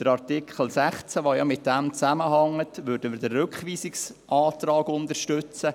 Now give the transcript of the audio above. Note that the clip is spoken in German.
Bei Artikel 16, der ja damit zusammenhängt, würden wir den Rückweisungsantrag unterstützen.